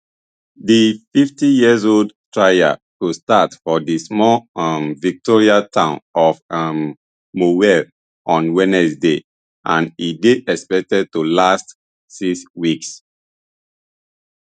di fiftyyearold trial go start for di small um victorian town of um morwell on wednesday and e dey expected to last six weeks